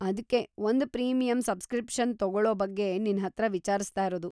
ಅದ್ಕೇ ಒಂದು premium subscription ತಗೊಳೋ ಬಗ್ಗೆ ನಿನ್ಹತ್ರ ವಿಚಾರ್ಸ್ತಾ ಇರೋದು.